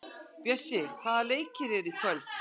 Bjössi, hvaða leikir eru í kvöld?